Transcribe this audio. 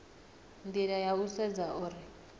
nila ya u sedza uri